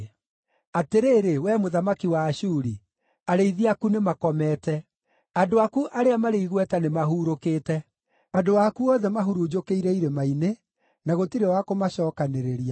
Atĩrĩrĩ, wee mũthamaki wa Ashuri, arĩithi aku nĩmakomete; andũ aku arĩa marĩ igweta nĩmahuurũkĩte. Andũ aku othe mahurunjũkĩire irĩma-inĩ, na gũtirĩ wa kũmacookanĩrĩria.